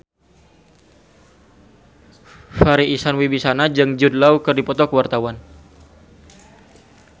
Farri Icksan Wibisana jeung Jude Law keur dipoto ku wartawan